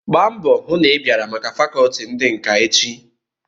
Gbaa mbọ hụ na ị biara na fakọọti ndi nka echi!